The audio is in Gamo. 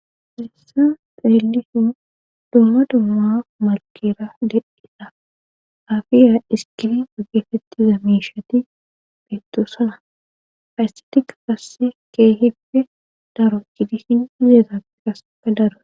Firessa xeellisin dooma dumma malkera dededha afiya iskini ogefetti zamishati peettosana hayssetika kasse keehipfe daro cidi hin hizeeta qasepa daro.